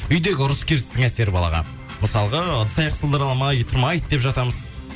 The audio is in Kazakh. үйдегі ұрыс керістің әсері балаға мысалға ыдыс аяқ сылдырламай тұрмайды деп жатамыз